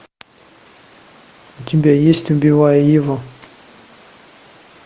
у тебя есть убивая еву